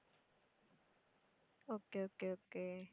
okay, okay, okay